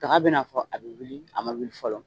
Daga be na fɔ a be wuli , a ma wuli fɔlɔ